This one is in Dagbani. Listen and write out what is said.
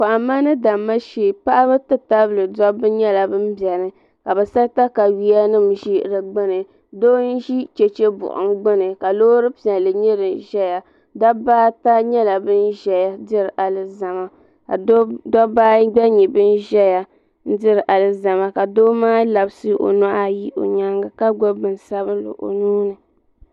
Kohamma ni damma shee Paɣaba ti tabili dabba nyɛla ban biɛni ka bɛ sa takawiya nima n ʒi di gbini doo n ʒi cheche buɣum gbini ka Loori piɛlli nyɛ din ʒɛya dabba ata nyɛla ban ʒɛya diri alizama ka dobba ayi gba nyɛ ban ʒɛya diri alizama ka doo maa labisi o nuhi ayi o nyaanga ka gbibi bin sabinli o nuuni.